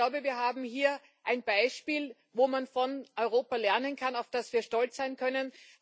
Ich glaube, wir haben hier ein Beispiel, wo man von Europa lernen kann, auf das wir stolz sein können.